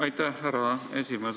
Aitäh, härra esimees!